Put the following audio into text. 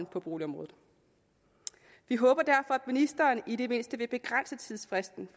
på boligområdet vi håber derfor at ministeren i det mindste vil begrænse tidsfristen